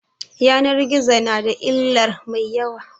Yanan gizo na da illar mai yawa